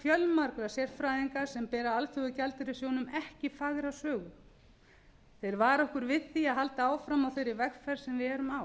fjölmargra sérfræðinga sem bera alþjóðagjaldeyrissjóðnum ekki fagra sögu þeir vara okkur við því að halda áfram á þeirri vegferð sem við erum á